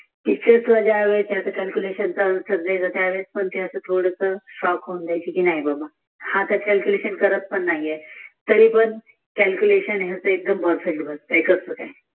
P C यास वाले पण पाहून अवघड नाही बाबा हा तर क्याल्कुलेषण करत पण नाही आहे तरीपण याच क्याल्कुलेषण एक दम पर्प्फेक्त बसत आहे